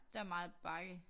Der meget bakke